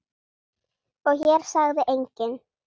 Og hér sagði enginn